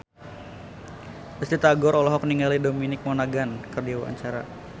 Risty Tagor olohok ningali Dominic Monaghan keur diwawancara